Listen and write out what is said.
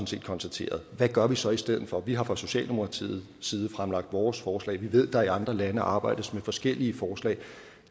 set konstateret hvad gør vi så i stedet for vi har fra socialdemokratiets side fremlagt vores forslag og vi ved at der i andre lande arbejdes med forskellige forslag